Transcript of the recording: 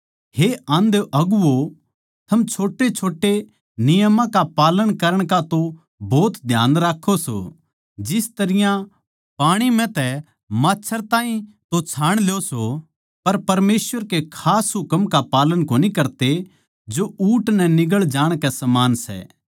हे आंधे अगुवो थम छोटेछोटे नियमां का पालन करण का तो भोत ध्यान राक्खों सों जिस तरियां पाणी म्ह तै माच्छर ताहीं तो छाण ल्यो सो पर परमेसवर के खास हुकम का पालन कोनी करते जो ऊँट नै निगळ जाणकै समान सै